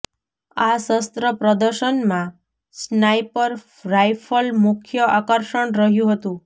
આ શસ્ત્ર પ્રદર્શનમાં સ્નાઇપર રાઇફલ મુખ્ય આકર્ષણ રહ્યુ હતુ